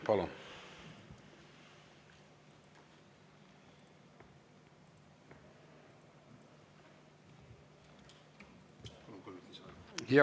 Palun!